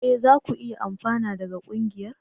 E! za ku iya amfana daga ƙungiyar.